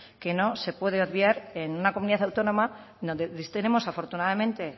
que no se puede obviar en una comunidad autónoma donde tenemos afortunadamente